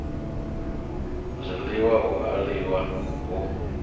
zwiḽiwa hu a limiwa hu